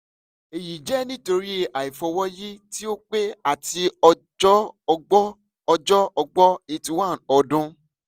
eyi jẹ nitori aifọwọyi ti o pẹ ati ọjọ ọgbọ́ ọjọ ọgbọ́ eighty one ọdún